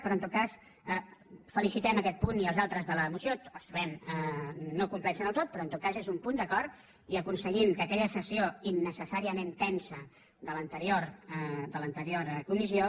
però en tot cas felicitem aquest punt i els altres de la moció els trobem no complets del tot però en tot cas és un punt d’acord i aconseguint que aquella sessió innecessàriament tensa de l’anterior comissió